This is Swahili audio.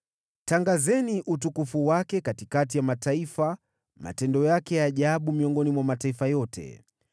Tangazeni utukufu wake katikati ya mataifa, matendo yake ya ajabu miongoni mwa mataifa yote.